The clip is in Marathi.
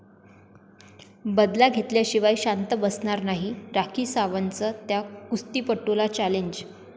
बदला घेतल्याशिवाय शांत बसणार नाही, राखी सावंतचं त्या कुस्तीपटूला चॅलेंज